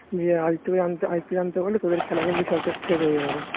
আদিত্য জানতো আদিত্য জানতো বুঝলি তো যে ওদের খেলা কিন্তু সব শেষ হয় যাবে